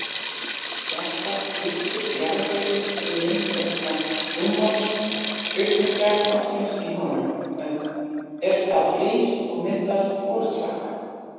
Jafnframt lyftist jarðvegurinn vegna rúmmálsaukningar vatnsins í honum er það frýs og myndar holklaka.